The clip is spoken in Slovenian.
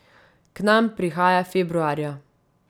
K nam prihaja februarja.